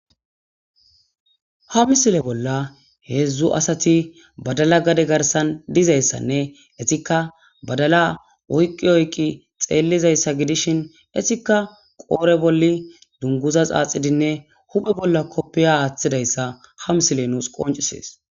ha misile bolla heedzdzu asati badala gade garsan dizayssanne etikka badala oyqqi oyqi xeellizayssa gidishin etikka qoore bolli dunguza saaxidinne huphe bolla koppeya aaththidayssa ha misile nuus qoncisees